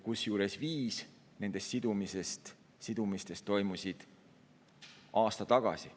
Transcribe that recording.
Kusjuures viis nendest sidumistest toimusid aasta tagasi.